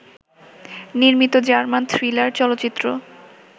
নির্মিত German thriller চলচ্চিত্র